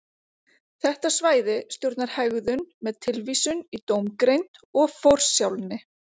þetta svæði stjórnar hegðun með tilvísun í dómgreind og forsjálni